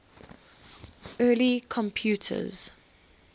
early computers